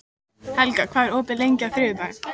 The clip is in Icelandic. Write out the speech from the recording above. Sunniva, hvað er opið lengi á þriðjudaginn?